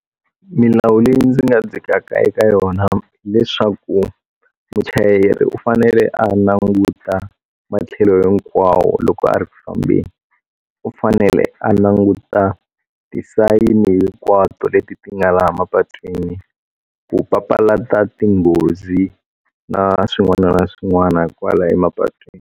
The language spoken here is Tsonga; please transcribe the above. Milawu leyi ndzi nga dzhikaka eka yona leswaku muchayeri u fanele a languta matlhelo hinkwawo loko a ri kufambeni u fanele a languta ti-sign hinkwato leti ti nga laha mapatwini ku papalata tinghozi na swin'wana na swin'wana hikwalaho emapatwini.